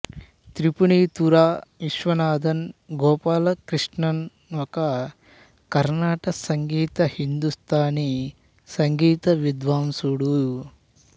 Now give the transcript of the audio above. త్రిపునితుర విశ్వనాథన్ గోపాలకృష్ణన్ ఒక కర్ణాటక సంగీత హిందుస్తానీ సంగీత విద్వాంసుడు